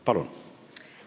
Palun!